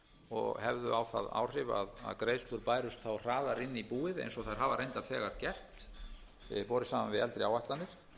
og hefðu á það áhrif að greiðslur bærust þá hraðar inn í búið eins og þær hafa reyndar þegar gert borið saman við eldri áætlanir